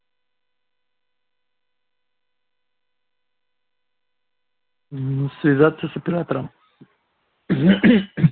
ну связаться с оператором